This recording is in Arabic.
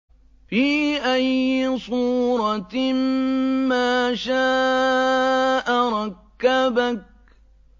فِي أَيِّ صُورَةٍ مَّا شَاءَ رَكَّبَكَ